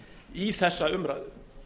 í þessa umræðu